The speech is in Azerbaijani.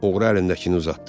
Oğru əlindəkini uzatdı.